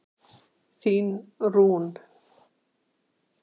Þín Rún.